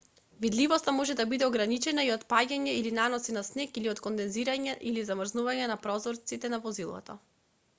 видливоста може да биде ограничена и од паѓање или наноси на снег или од кондензирање или замрзнување на прозорците на возилото